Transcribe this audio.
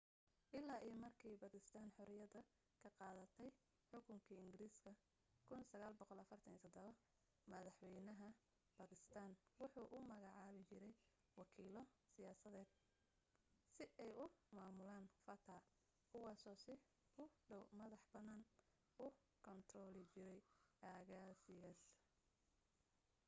ilaa iyo markii bakistaan xorriyada ka qaadatay xukunkii ingiriiska 1947 madaxwaynaha bakistaan wuxu u magacaabi jiray wakiilo siyaasadeed si ay u maamulaan fata kuwaasoo si ku dhow madax bannaani u kaantarooli jiray aagagaaas